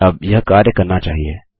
अब यह कार्य करना चाहिए